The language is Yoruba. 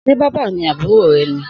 Sé bábà ni àbúrò ré ní?